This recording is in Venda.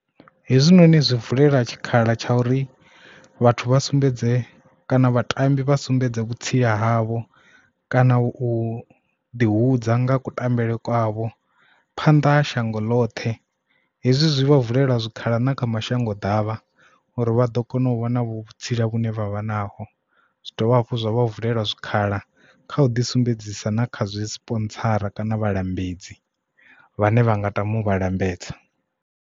Hezwinoni zwi vulela tshikhala tsha uri vhathu vha sumbedze kana vhatambi vha sumbedze vhutsila havho kana u ḓi hudza nga kutambele kwavho phanḓa ha shango ḽoṱhe. Hezwi zwi vha vulela zwikhala na kha mashango ḓavha uri vha ḓo kona u vha na vhutsila vhune vhavha naho zwi dovha hafhu zwa vha vulela zwikhala kha u ḓi sumbedzisa na kha zwi sponsora kana vhalambedzi vhane vha nga tama u vha lambedza.